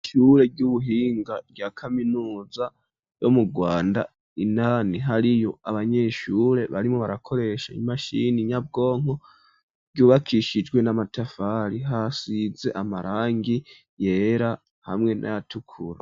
ishure ry'ubuhinga rya kaminuza ryo mu rwanda indani hariyo abanyeshure barimwo barakoresha imashini nyabwonko ryubakishijwe n'amatafari hasize amarangi yera hamwe n'ayatukura.